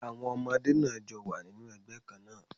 Àwọn ọmọdé náà jọ wà nínú ẹgbẹ́ kán náà